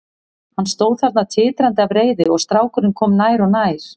Hann stóð þarna titrandi af reiði og strákurinn kom nær og nær.